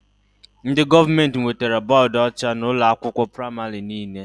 Ndị gọọmenti wetara bọdụ ọcha na ụlọ akwụkwọ pramarị niile